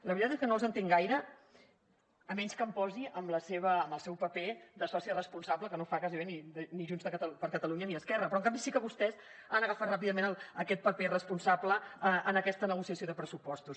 la veritat és que no els entenc gaire excepte que em posi en el seu paper de soci responsable que no ho fa gairebé ni junts per catalunya ni esquerra però en canvi sí que vostès han agafat ràpidament aquest paper responsable en aquesta negociació de pressupostos